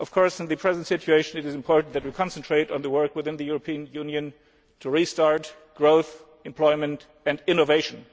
In the present situation it is important that we concentrate on the work within the European Union to restart growth, employment and innovation.